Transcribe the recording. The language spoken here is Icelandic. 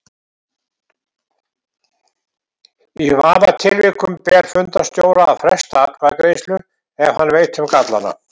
Í vafatilvikum ber fundarstjóra að fresta atkvæðagreiðslu ef hann veit um gallana.